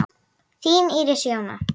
Þín Íris Jóna.